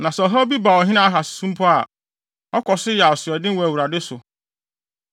Na sɛ ɔhaw bi ba ɔhene Ahas so mpo a, ɔkɔ so yɛ asoɔden wɔ Awurade so.